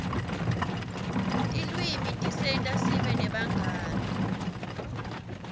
tilwimi tisenta sibe nebangani